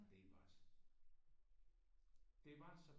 Og det var det var så